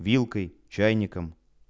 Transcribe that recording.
вилкой чайником